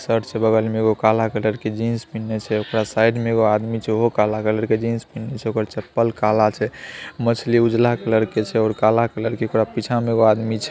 Shirt छे बगल में एगो काला कलर के जिन्स पिन्हले छे ओकरा साइड में एगो आदमी छे हुओ काला कलर के जिन्स पिन्हले छे ओकर चप्पल काला छे| मछली उजाला कलर के छे और काला कलर के ओकरा पीछे में एगो आदमी छे ।